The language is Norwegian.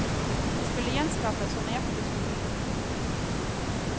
Den skulle gjenskapes så nøyaktig som mulig.